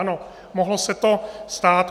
Ano, mohlo se to stát.